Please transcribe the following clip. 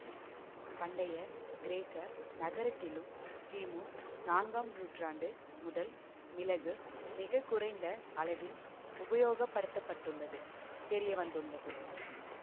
பண்டைய கிரேக்க நாகரிகத்திலும் கிமு நான்காம் நூற்றாண்டு முதல் மிளகு மிக குறைந்த அளவில் உபயோகப்படுத்தப்பட்டுள்ளது தெரிய வந்துள்ளது